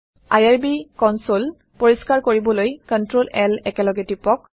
IRB console পৰিস্কাৰ কৰিবলৈ CtrlL একেলগে টিপক